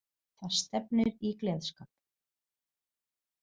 Það stefnir í gleðskap.